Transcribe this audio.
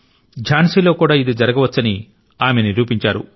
ఝాన్సీ లో కూడా ఇది జరగవచ్చని ఆమె నిరూపించారు